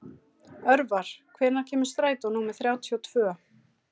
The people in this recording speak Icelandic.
Örvar, hvenær kemur strætó númer þrjátíu og tvö?